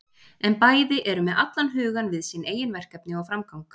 En bæði eru með allan hugann við sín eigin verkefni og framgang.